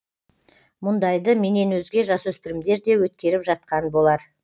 мұндайды менен өзге жасөспірімдер де өткеріп жатқан болар